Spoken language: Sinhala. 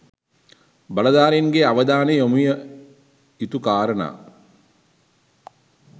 බලධාරීන්ගේ අවධානය යොමු විය යුතු කාරණා